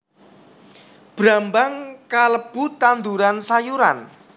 Brambang kalebu tanduran sayuran